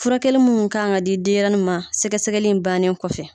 Furakɛli minnu kan ka di denɲɛrɛnin ma sɛgɛsɛgɛni in bannen kɔfɛ.